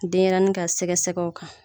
Denɲɛrɛnin ka sɛgɛ sɛgɛw kan.